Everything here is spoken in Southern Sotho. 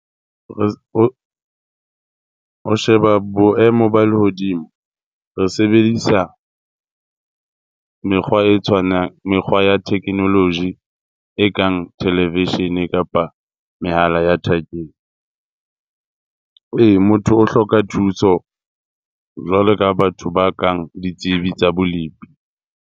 O sheba boemo ba lehodimo, re sebedisa mekgwa e tshwanang, mekgwa ya technology e kang televishene kapa mehala ya thekeng. Ee, motho o hloka thuso jwalo ka batho ba kang ditsebi tsa bolepi.